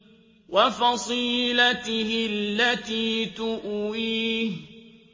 وَفَصِيلَتِهِ الَّتِي تُؤْوِيهِ